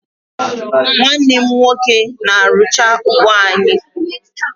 Nwanne m nwoke na-arụcha ugbo anyị